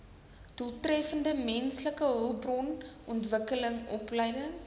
doeltreffende mensehulpbronontwikkeling opleiding